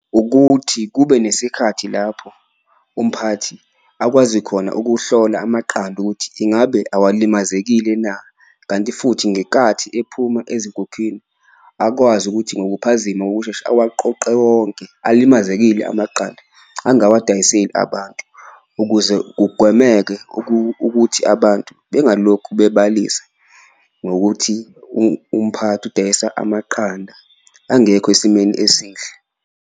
Ukuthi kube nesikhathi lapho umphathi akwazi khona ukuhlola amaqanda ukuthi ingabe awalimazekile na, kanti futhi ngenkathi ephuma ezinkukhwini akwazi ukuthi ngokuphazima kokushesha awaqoqe wonke. Alimazekile amaqanda angawadayiseli abantu ukuze kugwemeke ukuthi abantu bengalokhu bebalisa, ngokuthi umphathi udayisa amaqanda angekho esimeni esihle.